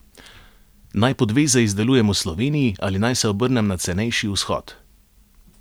Naj podveze izdelujem v Sloveniji ali naj se obrnem na cenejši vzhod?